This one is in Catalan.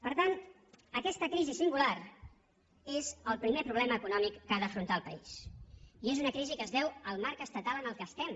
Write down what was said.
per tant aquesta crisi singular és el primer problema econòmic que ha d’afrontar el país i és una crisi que es deu al marc estatal en el qual estem